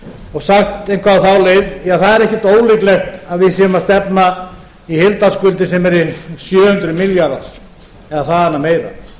og sagt eitthvað á þá leið ja það er ekkert ólíklegt að við séum að stefna í heildarskuldir sem eru sjö hundruð milljarðar eða þaðan af